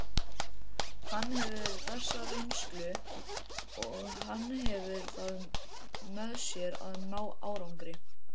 Hann hefur þessa reynslu og hann hefur það með sér að ná árangri.